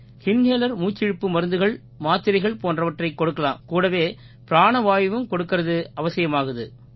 inhalers மூச்சிழுப்பு மருந்துகள் மாத்திரைகள் போன்றவற்றைக் கொடுக்கலாம் கூடவே பிராணவாயுவையும் கொடுக்கறது அவசியமாகுது